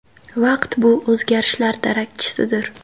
Vaqt bu o‘zgarishlar darakchisidir.